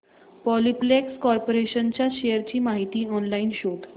Polyplex corporation च्या shares ची माहिती ऑनलाइन शोध